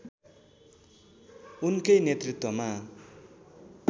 उनकै नेतृत्वमा